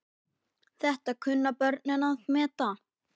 Þetta kunnu börnin að meta.